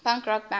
punk rock band